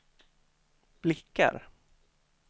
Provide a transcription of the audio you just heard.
blickar